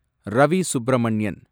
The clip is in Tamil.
ரவி சுப்பிரமணியன்